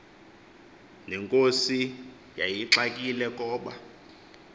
nenkosi yayixakile koba